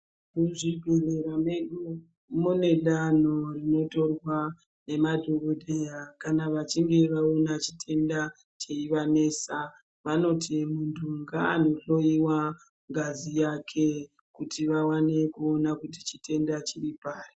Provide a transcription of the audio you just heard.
Muzvibhehlera medu mune danho rinotorwa, nemadhokodheya kana vachinge vaona chitenda cheivanesa, vanoti muntu ngaanohlowiwa ngazi yake, kuti vaone kuti chitenda chiri paari.